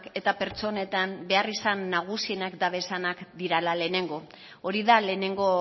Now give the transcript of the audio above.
eta pertsonetan beharrizan nagusiak dabezanak direla lehenengo hori da lehenengo